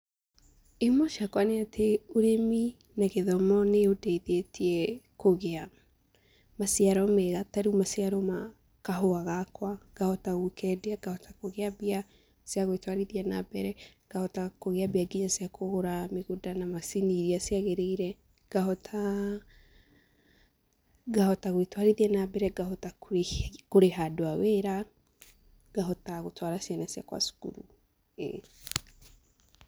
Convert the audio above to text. Ihumo ciakwa nĩ atĩ ũrĩmi na gĩthomo nĩ ũndeithĩtie kũgĩa maciaro mega, ta rĩu maciaro ma kahũa gakwa, ngahota gũkendia, ngahota kũgĩa mbia cia gwĩtwarithia na mbere, ngahota kũgĩa mbia nginya cia kũgũra mũgũnda na macini iria ciagĩrĩire, ngahota gwĩtwarithia na mbere, ngahota kũrĩha andũ a wĩra, ngahota gũtwara ciana ciakwa cukuru.